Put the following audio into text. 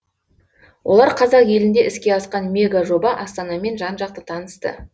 олар қазақ елінде іске асқан мегажоба астанамен жан жақты танысты